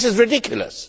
This is ridiculous.